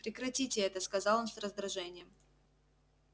прекратите это сказал он с раздражением